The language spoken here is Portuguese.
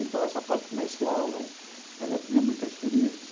Essa parte comercial, ela ela tinha muita experiência.